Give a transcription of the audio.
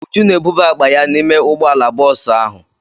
Uju na-ebuba akpa ya n'ime ụgbọala bọọsụ ahụ.